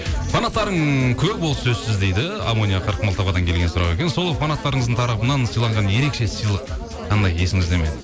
фанаттарың көп ол сөзсіз дейді амония қырықмылтықовадан келген сұрақ екен сол фанаттарыңыздың тарапынан сыйланған ерекше сыйлық қандай есіңізде ме